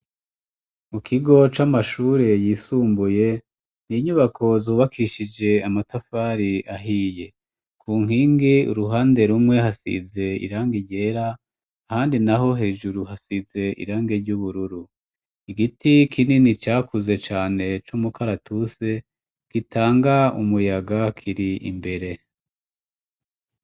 Mu kigo c'amashure yisumbuye ,n'inyubako zubakishije amatafari ahiye, ku nkingi uruhande rumwe hasize irang'iryera, ahandi naho hejuru hasize irangi ry'ubururu, igiti kinini cakuze cane, c'umukaratuse ,gitanga umuyaga ,kiri imbere.